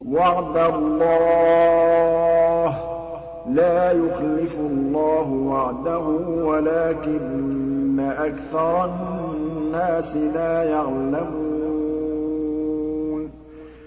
وَعْدَ اللَّهِ ۖ لَا يُخْلِفُ اللَّهُ وَعْدَهُ وَلَٰكِنَّ أَكْثَرَ النَّاسِ لَا يَعْلَمُونَ